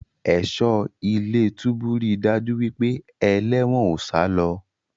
Ẹ̀ṣọ́ ilé-túbú rí daju wípé eléwòn o salọ.